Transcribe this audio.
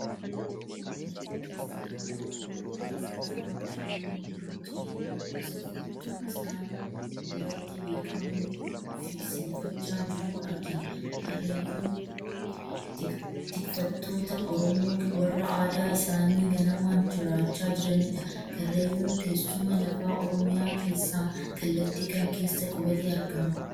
Dargaggeessa Karrayyuu rifeensa isaa bishaaniin miicee, gosa filtuu isaan biratti beekamuun filsiifachaa jiruu argina. Karrayyuun tikfattoota Oromoo warra aadaa isaanii ganamaan jiraachaa jiranidha. Karrayyuun teessuma lafaa Oromiyaa keessaa kallattii kam keessa qubatee argama?